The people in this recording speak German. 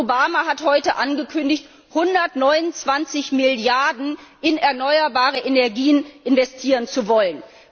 Und Präsident Obama hat heute angekündigt, 129 Milliarden in erneuerbare Energien investieren zu wollen.